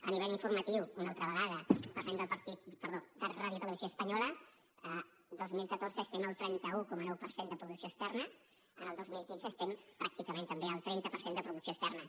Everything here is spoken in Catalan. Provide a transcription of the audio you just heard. a nivell informatiu una altra vegada parlem de radiotelevisió espanyola el dos mil catorze estem al trenta un coma nou per cent de producció externa el dos mil quinze estem pràcticament també al trenta per cent de producció externa